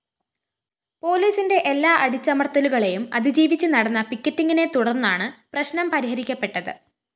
പോലീസിന്റെ എല്ലാ അടിച്ചമര്‍ത്തലുകളെയും അതിജീവിച്ച്‌ നടന്ന പിക്കറ്റിംഗിനെത്തുടര്‍ന്നാണ്‌ പ്രശ്നം പരിഹരിക്കപ്പെട്ടത്‌